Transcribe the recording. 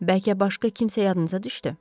Bəlkə başqa kimsə yadınıza düşdü?